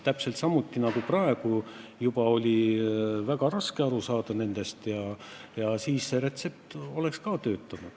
Täpselt samuti nagu praegu oli eelarvest väga raske aru saada ja siis te oleks saanud seda retsepti kasutada.